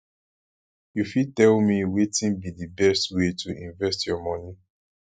you fit tell me wetin be di best way to invest your money